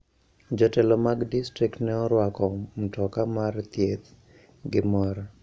Jotelo mag distrikt ne orwako mtoka mar thieth gi mor.